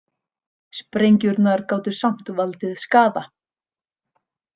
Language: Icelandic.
Sprengjurnar gátu samt valdið skaða.